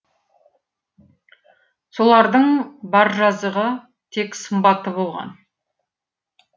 солардың бар жазығы тек сымбатты болған